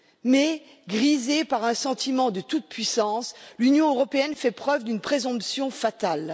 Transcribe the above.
Mais, grisée par un sentiment de toute puissance, l'Union européenne fait preuve d'une présomption fatale.